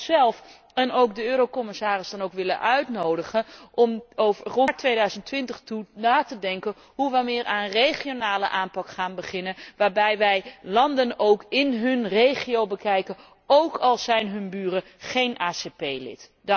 Ik zou onszelf en ook de eurocommissarissen dan ook willen uitnodigen om naar 2020 toe na te denken over de vraag hoe we hier aan regionale aanpak gaan beginnen, waarbij wij landen ook in hun regio bekijken, ook al zijn hun buren geen ACS lid.